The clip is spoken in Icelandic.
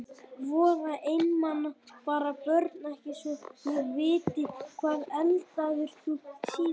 Voða einmana bara Börn: Ekki svo ég viti Hvað eldaðir þú síðast?